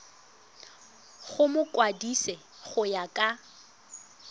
go mokwadise go ya ka